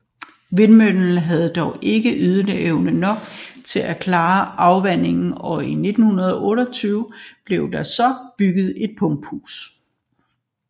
Vindmøllen havde dog ikke ydeevne nok til at klare afvandingen og i 1928 blev der så bygget et pumpehus